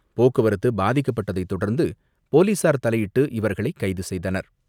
போக்குவரத்து பாதிக்கப்பட்டதைத் தொடர்ந்து போலீசார் தலையிட்டு இவர்களை கைது செய்தனர்.